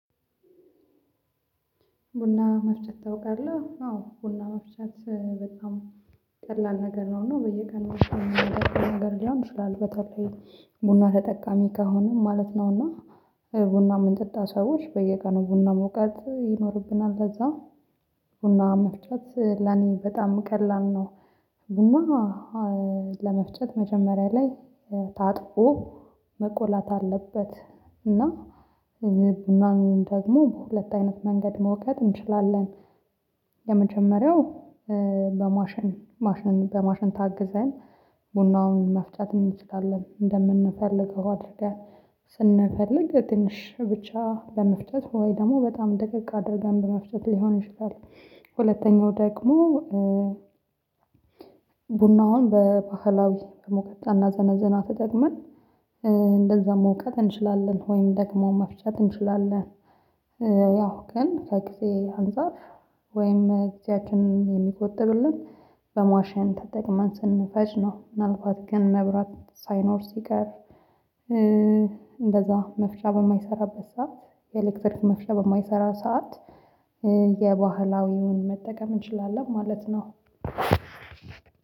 ቡና መፍጨት ታውቃለህ? አዎ ቡና መፍጨት በጣም ቀላል ነገር ነው እና በየቀኑ የሚሆን ነገር ሊሆን ይችላል በተለይ ቡና ተጠቃሚ ከሆነን ማለት ነው ነውና ቡና የምንጠጣ ሰዎች በየቀኑ ቡና መውቀጥ ይኖርብናል ለዛ ቡና መፍጨት ለኔ በጣም ቀላል ነው ቡና ለመፍጨት መጀመሪያ ላይ ታጥቆ መቆላት አለበት እና ቡናን ወይም ደግሞ በሁለት አይነት መንገድ መውቀጥ እንችላለን የመጀመሪያው በማሽን ማሽን በማሽን ታግዘን ቡናውን መፍጨት እንችላለን እንደምንፈልገው አድርጋን ስንፈልግ ትንሽ ብቻ ለመፍጨት ወይ ደግሞ በጣም ደቀቅ አድርገን በመፍጨት ሊሆን ይችላል ሁለተኛው ደግሞ ቡናውን በባህላዊ በሙቀጫ እና ዘነዘና ተጠቅመን እንደዛ መውቀጥ እንችላለን ወይም ደግሞ መፍጨት እንችላለን ያው ግን ከጊዜ አንፃር ወይም ጊዜያችንን የሚቆጥብልን በማሽን ተጠቅመን ስንፈጭ ነው ምናልባት ግን መብራት ሳይኖር ሲቀር እንደዛ መፍጫ በማይሰራበት ሰዓት የኤሌክትሪክ መፍጫ በማይሰራ ሰዓት የባህላዊውን መጠቀም እንችላለን ማለት ነው